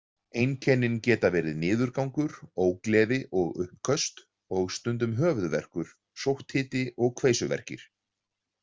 Einkennin geta verið niðurgangur, ógleði og uppköst og stundum höfuðverkur, sótthiti og kveisuverkir.